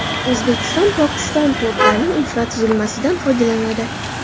O‘zbekiston Pokiston portlarining infratuzilmasidan foydalanadi.